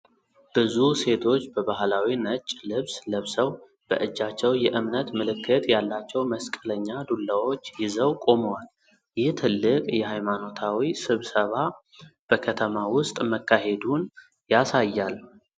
ብዙ ሴቶች በባህላዊ ነጭ ልብስ ለብሰው በእጃቸው የእምነት ምልክት ያላቸው መስቀለኛ ዱላዎች ይዘው ቆመዋል። ይህ ትልቅ የሃይማኖታዊ ስብሰባ በከተማ ውስጥ መካሄዱን ያሳያል።